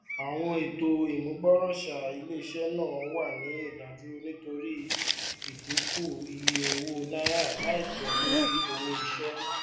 àwọn ètò ìmúgbòròṣà iléiṣẹ náà wà ní ìdádúró nítorí idinku iye owó naírà laipẹ lórí owó iṣẹ